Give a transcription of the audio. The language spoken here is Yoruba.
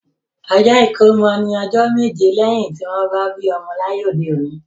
Ọjọ́ ìkómọ ní ọjọ́ méje lẹ́yin tí wọ́n bí ọmọ láyé òde òní